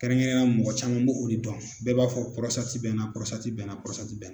Kɛrɛnkɛrɛnya mɔgɔ caman be o de dɔn. Bɛɛ b'a fɔ bɛ na bɛ na bɛ